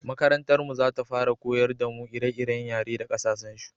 makarantar mu za ta fara koyar da mu ire-iren yare da ƙasashen su